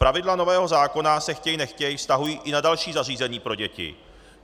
Pravidla nového zákona se, chtěj nechtěj, vztahují i na další zařízení pro děti.